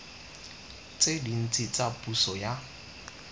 tse dintsi tsa puso ya